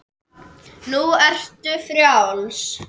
Nú ertu frjáls.